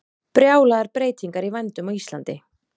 Brjálaðar breytingar í vændum á Íslandi